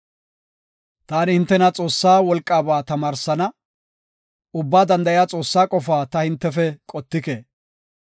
“Taani hintena Xoossaa wolqaaba tamaarsana; Ubbaa Danda7iya Xoossaa qofaa ta hintefe qottike.